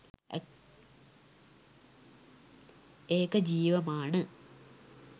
ඒක ජීවමාන